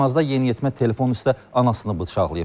Xaçmazda yeniyetmə telefon üstə anasını bıçaqlayıb.